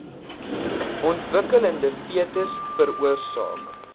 ontwikkelende fetus veroorsaak